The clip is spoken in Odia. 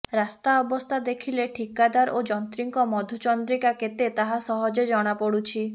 ରାସ୍ତା ଅବସ୍ଥା ଦେଖିଲେ ଠିକାଦାର ଓ ଯନ୍ତ୍ରୀଙ୍କ ମଧୁଚନ୍ଦ୍ରିକା କେତେ ତାହା ସହଜେ ଜଣାପଡୁଛି